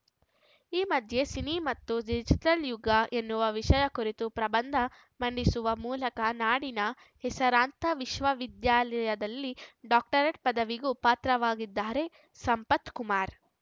ಈ ಮಧ್ಯೆ ಸಿನಿ ಮತ್ತು ಡಿಜಿಟಲ್‌ ಯುಗ ಎನ್ನುವ ವಿಷಯ ಕುರಿತು ಪ್ರಬಂಧ ಮಂಡಿಸುವ ಮೂಲಕ ನಾಡಿನ ಹೆಸರಾಂತ ವಿಶ್ವ ವಿದ್ಯಾಲಯದಲ್ಲಿ ಡಾಕ್ಟರೇಟ್‌ ಪದವಿಗೂ ಪಾತ್ರವಾಗಿದ್ದಾರೆ ಸಂಪತ್‌ ಕುಮಾರ್‌